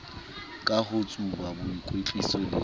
ka ho tsuba boikwetliso le